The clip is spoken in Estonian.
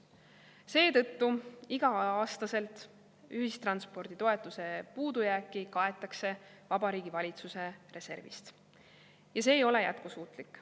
Seetõttu iga-aastaselt ühistranspordi toetuse puudujääki kaetakse Vabariigi Valitsuse reservist ja see ei ole jätkusuutlik.